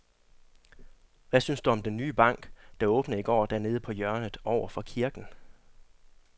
Hvad synes du om den nye bank, der åbnede i går dernede på hjørnet over for kirken?